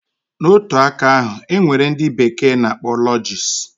Na otu aka ahu, enwere ndi bekee na akpọ lodges